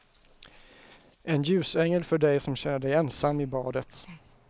En ljusängel för dig som känner dig ensam i badet.